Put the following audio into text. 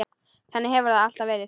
Þannig hefur það alltaf verið.